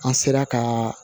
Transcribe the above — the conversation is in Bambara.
An sera ka